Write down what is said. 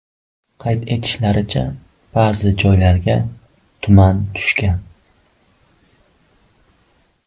Qayd etishlaricha, ba’zi joylarga tuman tushgan.